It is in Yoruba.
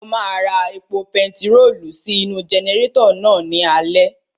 Mo máa ra epo pentiróòlù sí inú-u jẹnẹrétọ̀ náà ní alẹ́